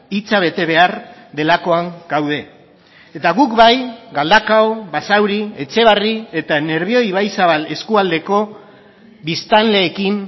hitza bete behar delakoan gaude eta guk bai galdakao basauri etxebarri eta nerbioi ibaizabal eskualdeko biztanleekin